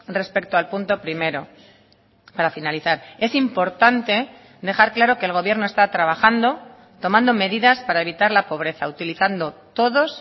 respecto al punto primero para finalizar es importante dejar claro que el gobierno está trabajando tomando medidas para evitar la pobreza utilizando todos